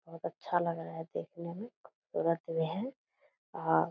बहुत अच्छा लग रहा है देखने में खूबसूरत भी है और --